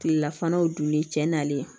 Kilelafanaw dunlen cɛ nalen